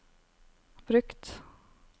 brukt